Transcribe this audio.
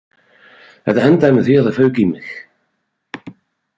Þetta endaði með því að það fauk í mig